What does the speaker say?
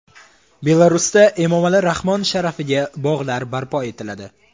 Belarusda Emomali Rahmon sharafiga bog‘lar barpo etiladi.